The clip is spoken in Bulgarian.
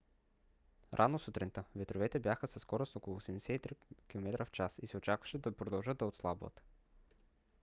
рано сутринта ветровете бяха със скорост около 83 км/ч и се очакваше да продължат да отслабват